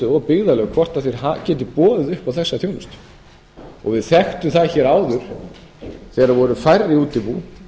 og byggðarlög hvort þau geti boðið upp á þessa þjónustu við þekktum það hér áður þegar það voru færri útibú